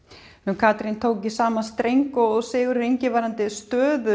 Katrín tók í sama streng og Sigurður Ingi varðandi stöðu